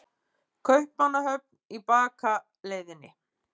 Kaupmannahöfn í bakaleiðinni.